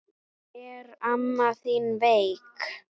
Er amma þín veik?